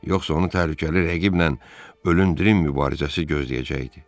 Yoxsa onu təhlükəli rəqiblə ölümdril mübarizəsi gözləyəcəkdi.